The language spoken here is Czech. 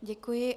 Děkuji.